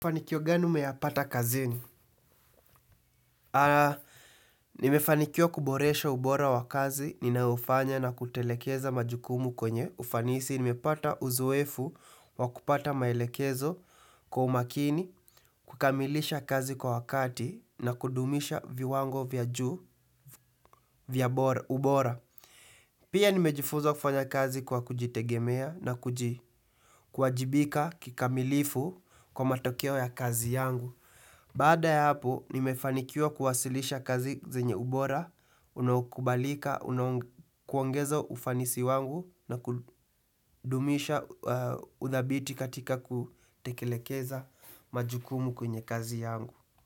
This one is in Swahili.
Fanikio gani umeyapata kazini? Nimefanikiwa kuboresha ubora wa kazi, ninaofanya na kutelekeza majukumu kwenye. Ufanisi, nimepata uzoefu wa kupata maelekezo kwa umakini, kukamilisha kazi kwa wakati, na kudumisha viwango vya juu, vya bora ubora. Pia nimejifunza kufanya kazi kwa kujitegemea na kuji kuajibika kikamilifu kwa matokeo ya kazi yangu. Baada ya hapo, nimefanikiwa kuwasilisha kazi zenye ubora, unaokubalika, una kuongeza ufanisi wangu na kudumisha udhabiti katika kutekelekeza majukumu kwenye kazi yangu.